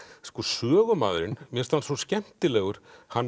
sko sögumaðurinn mér finnst hann svo skemmtilegur hann